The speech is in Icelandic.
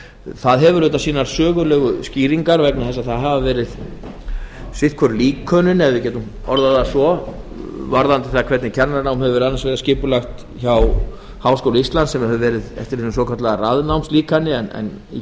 það hefur sínar sögulegu skýringar vegna þess að stuðst hefur verið við sitthvort líkanið ef við getum orðað það svo við skipulag kennaranáms annars vegar í háskóla íslands og hins vegar í kennaraháskóla íslands í háskóla íslands hefur verið stuðst við svokallað raðnámslíkani en í